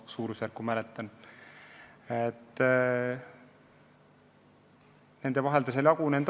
See on ära jagatud.